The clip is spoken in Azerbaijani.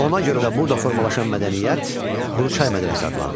Ona görə də burada formalaşan mədəniyyət Quruçay mədəniyyəti adlanır.